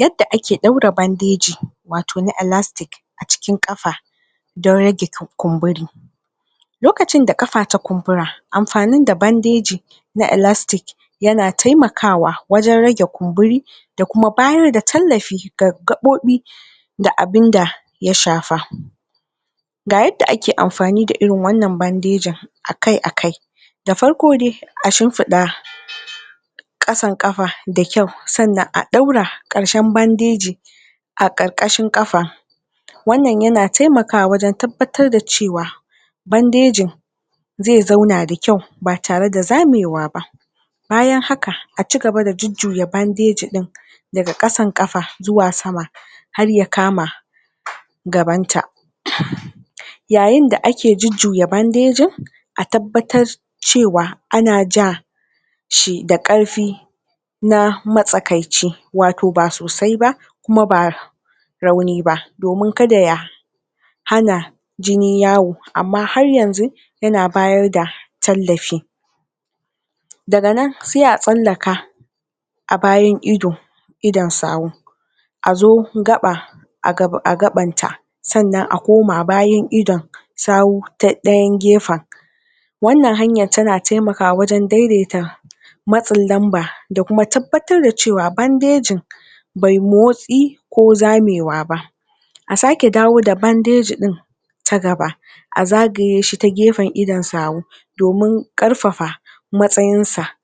yadda ake daura bandeji wato elastic acikin kafa don rage kumburi lokacin da kafa ta kumbura amfanin da bandeji na elastic yana temakawa wajen rage kumburi da kuma bayar da tallafi ga gabobi da abun da ya shafa ga yadda ake amfani da irin wannan bandejin akai akai da farko dai a shumfuda kasan kafa da kyau sannan a daura karshen bandeji a karkashi kafa wannan yana temakawa tabbatar da cewa bandejin zai zona da kyau ba tare da zamewa ba bayan haka acigaba jujuya bandeji daga kasan kafa zuwa sama har ya kama gabanta yayin da ake jujjuya bandejin a tabbatar cewa anaja shi da karfi na matsakaici wato ba sosai ba kuma ba rauni ba domin kada ya hana jini yawo amma har yanzu yana bayar da tallafi daga nan sai a tsallaka a bayan ido idon sawu a zo gaba a gaban ta sannan a koma bayan ido sawu ta dayan gefen wannan hanyar tana temakawa wajen daideta matsin lamba da kuma tabbatar cewa bandejin bai motsi ko zamewa ba a sake dawo da bandeji din ta gaba a zagaye shi ta gefen idon sawu domin karfafa matsayin sa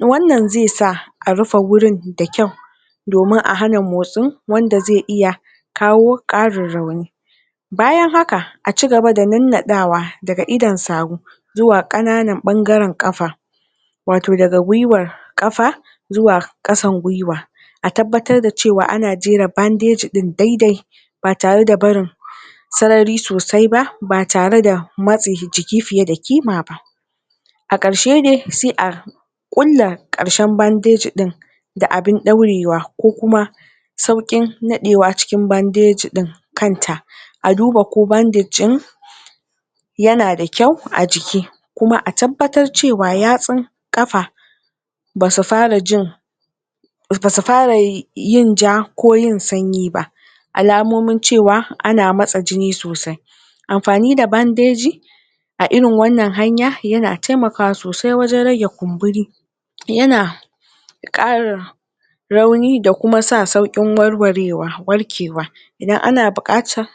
wannan zai sa a rufe gurin da kyau domin a hana motsin wanda zai iya kawo karin rauni bayan haka a cigaba da nanna dawa a idon sawo zuwa kana nan bangaren kafa wato daga gwuiwa kafa zuwa kasan gwuiwa a tabbatar cewa ana jera cewa ana gera bandejin daidai ba tare da sarari sosai ba ba tare da matse jiki fiye da kima ba a karshe dai sai a kulla karshen bandejin da abun daurewa ba ko kuma saukin nadewa bandeji din kanta a duba bandeji yana da kyau a jiki kuma a tabbatar cewa yatsun kafa basu fara jin basu fara yin ja ko yin sanyi ba alamomin cewa ana matsa jini sosai amfani da bandeji a irin wannan hanya yana temakawa sosai rage kumburin yana kara rauni da kuma saukin warwarewa warkewa idan ana bukatar